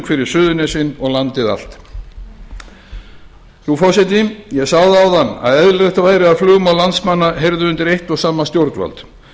fyrir suðurnesin og landið allt ég sagði áðan að eðlilegt væri að flugmál landsmanna heyrðu undir eitt og sama stjórnvald